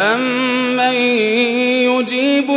أَمَّن يُجِيبُ